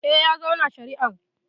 Eh, ya zauna shari'ar.